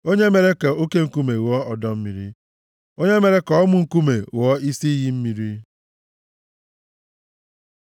onye mere ka oke nkume ghọọ ọdọ mmiri, onye mere ka ọmụ nkume ghọọ isi iyi mmiri. + 114:8 \+xt Aịz 48:21; 1Kọ 10:4\+xt*